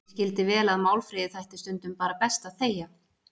Ég skildi vel að Málfríði þætti stundum bara best að þegja.